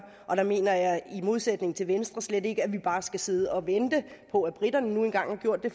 og der mener jeg i modsætning til venstre slet ikke at vi bare skal sidde og vente på at briterne nu engang får gjort det